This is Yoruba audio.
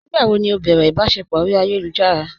Nígbàwó ni ó bẹ̀rẹ̀ ìbàṣẹpọ̀ orí ayélujára?